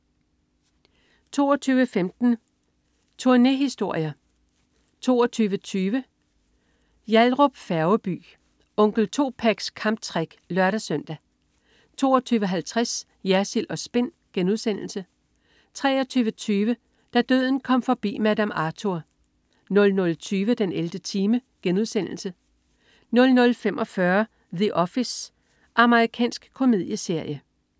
22.15 Tournéhistorier 22.20 Yallahrup Færgeby. "Onkel 2pacs Kamptrick" (lør-søn) 22.50 Jersild & Spin* 23.20 Da døden kom forbi Madame Arthur 00.20 den 11. time* 00.45 The Office. Amerikansk komedieserie